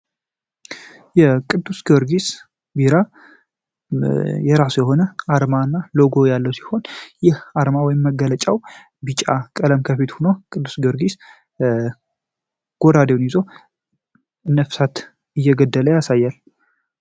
የቅዱስ ግዮርጊስ ቢራ የራስ የሆነ አርማ እና ሎጎ ያለው ሲሆን ይህ አርማ ወይም መገለጫው ቢጫ ቀለም ከፊት ሁኖ ቅዱስ ግርጊስ ጎራዴውን ይዞ ነፍሳት እየገደለ ያሳያል።